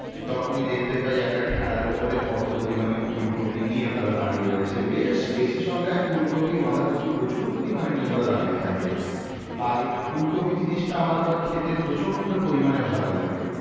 তখনই দেখতে পায় একটা ঠেলার ওপরে অত পরিমাণে ফুলকপি নিয়ে তারা দাঁড়িয়ে রয়েছে বেশ বেশি সংখ্যায় ফুলকপি বাঁধাকপি প্রচুর পরিমাণে নিয়ে ওরা দাঁড়িয়ে থাকে আর এই ফুলকপি জিনিসটা আমার আবার খেতে প্রচন্ড পরিমাণে ভালো লাগে